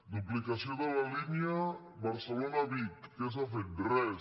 duplicació de la línia barcelona vic què s’ha fet res